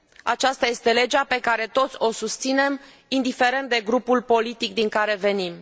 Aceasta este legea pe care toți o susținem, indiferent de grupul politic din care venim.